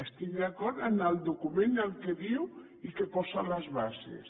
estic d’acord amb el document el que diu i que posa les bases